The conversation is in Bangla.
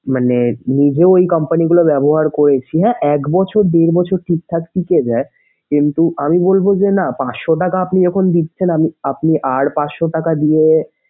মানে নিজেও এই company গুলা ব্যবহার করেছি হ্যাঁ এক বছর দেড় বছর ঠিকঠাক টিকে যায় কিন্তু আমি বলবো যে না পাশশো টাকা আপনি এখন দিচ্ছেন আমি আপনি আর পাঁচশো টাকা দিয়ে।